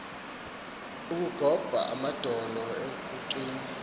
kugob amadolo kuncwin